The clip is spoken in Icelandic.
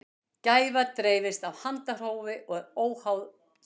gæfa dreifist af handahófi og er óháð dögum